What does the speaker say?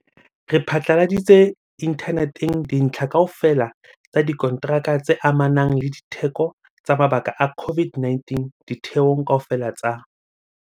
Re phatlaladitse inthaneteng dintlha kaofela tsa dikonteraka tse amanang le ditheko tsa mabaka a COVID-19 ditheong kaofela tsa